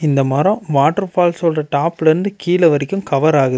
இந்த மரம் water falls ஓட டாப்ல இருந்து கீழே வரைக்கு கவர் ஆகுது.